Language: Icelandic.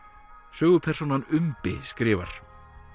sögupersónan umbi skrifar